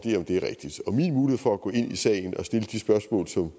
min mulighed for at gå ind i sagen og stille de spørgsmål som